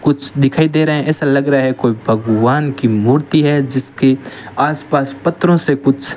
कुछ दिखाई दे रहा है ऐसा लग रहा है कोई भगवान की मूर्ति है जिसके आसपास पत्थरों से कुछ --